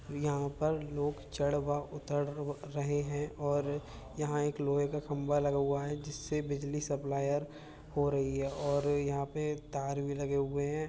यहां पर लोग चढ़ व उतर रहे है और यहां एक लोहे का खंभा लगा हुआ हैजिससे बिजली सप्लायर हो रही है और यहां पे तार भी लगे हुए हैं।